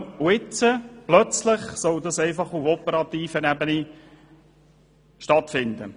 Jetzt soll sich dieser Bereich auf einmal auf der operativen Ebene befinden.